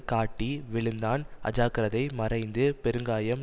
காட்டி விழுந்தான் அஜாக்கிரதை மறைந்து பெருங்காயம்